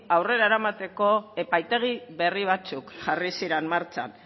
aurrera eramateko epaitegi berri batzuk jarri ziren martxan